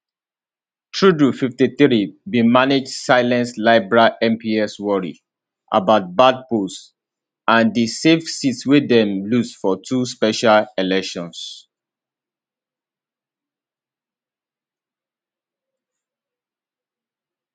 trudeau 53 bin manage silence liberal mps worry about bad polls and di safe seats wey dem lose for two special elections